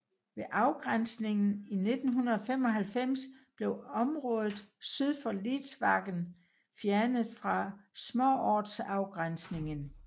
Ved afgrænsningen i 1995 blev området syd for Lidsvagen fjernet fra småortsafgrænsningen